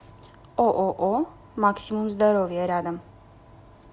ооо максимум здоровья рядом